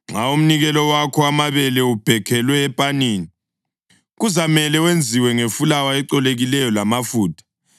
Nxa umnikelo wakho wamabele ubhekhelwe epaneni, kuzamele wenziwe ngefulawa ecolekileyo lamafutha.